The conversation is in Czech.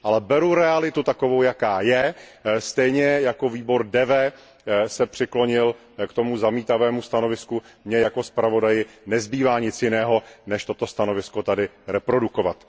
Beru realitu takovou, jaká je, stejně jako výbor DEVE se přiklonil k tomu zamítavému stanovisku, mně jako navrhovateli nezbývá nic jiného, než toto stanovisko tady reprodukovat.